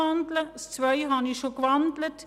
Die Ziffer 2 habe ich bereits gewandelt.